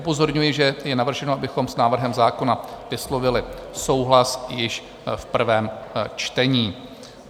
Upozorňuji, že je navrženo, abychom s návrhem zákona vyslovili souhlas již v prvém čtení.